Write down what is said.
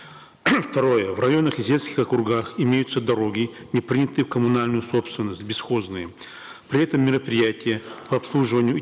второе в районных и сельских округах имеются дороги непринятые в коммунальную собственность бесхозные при этом мероприятия по обслуживанию и